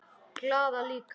Glaða líka.